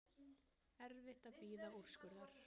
Erfitt að bíða úrskurðar